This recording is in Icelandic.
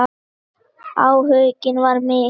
Áhuginn var mikill.